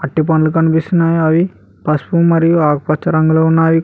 అట్టి పండ్లు కనిపిస్తున్నాయి అవి పసుపు మరియు ఆకుపచ్చ రంగులో ఉన్నావి కొ--